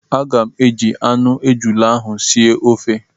Aga m eji anụ ejula ahụ sie ofe